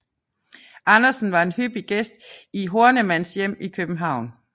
Andersen var en hyppig gæst i Hornemanns hjem i København